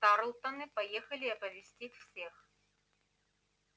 тарлтоны поехали оповестить всех